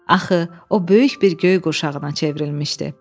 Axı o böyük bir göy qurşağına çevrilmişdi.